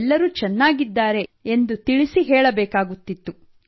ಎಲ್ಲರೂ ಚೆನ್ನಾಗಿದ್ದಾರೆ ಎಂದು ತಿಳಿಸಿ ಹೇಳಬೇಕಾಗುತ್ತಿತ್ತು